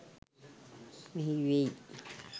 මෙහි වෙයි.